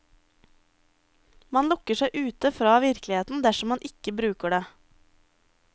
Man lukker seg ute fra virkeligheten dersom man ikke bruker det.